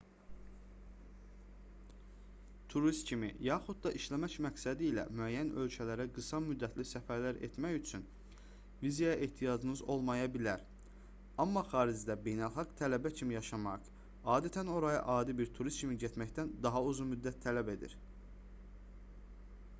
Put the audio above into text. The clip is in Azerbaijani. turist kimi yaxud da işləmək məqsədilə müəyyən ölkələrə qısa-müddətli səfərlər etmək üçün vizaya ehtiyacınız olmaya bilər amma xaricdə beynəlxalq tələbə kimi yaşamaq adətən oraya adi bir turist kimi getməkdən daha uzun-müddət tələb edir